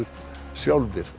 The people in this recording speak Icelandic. sjálfir